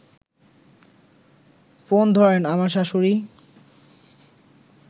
phone ধরেন আমার শাশুড়ি